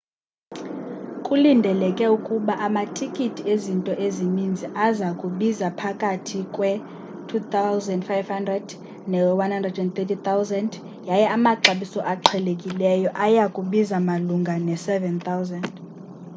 kulindeleke ukuba amatikiti ezinto ezininzi aza kubiza phakathi kwe-¥2,500 ne-¥130,000 yaye amaxabiso aqhelekileyo aya kubiza malunga ne-¥7,000